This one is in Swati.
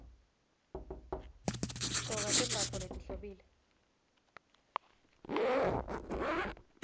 gcoka tembatfo letihlobile